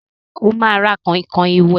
Sẹ́ ó máa ra kọ̀nkọ̀n ìwẹ̀?